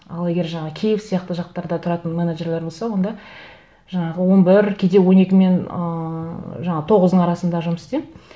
ал егер жаңағы киев сияқты жақтарда тұратын менеджерлер болса онда жаңағы он бір кейде он екі мен ыыы жаңағы тоғыздың арасында жұмыс істеймін